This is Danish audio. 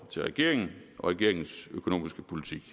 til regeringen og regeringens økonomiske politik